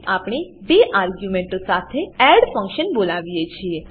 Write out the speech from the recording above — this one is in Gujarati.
આપણે બે આર્ગ્યુંમેંટો સાથે એડ ફંક્શન બોલાવીએ છીએ